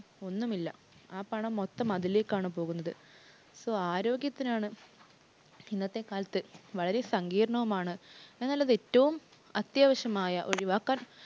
ഒന്നുമില്ല. ആ പണം മൊത്തം അതിലേക്കാണ് പോകുന്നത്. So ആരോഗ്യത്തിനാണ് ഇന്നത്തെ കാലത്ത് വളരെ സങ്കീര്‍ണവുമാണ്. എന്നാലത് ഏറ്റവും അത്യാവശ്യമായ ഒഴിവാക്കാന്‍